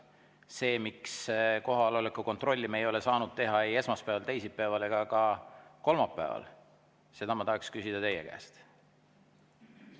Seda, miks me kohaloleku kontrolli ei ole saanud teha ei esmaspäeval, teisipäeval ega ka kolmapäeval, ma tahaksin küsida teie käest.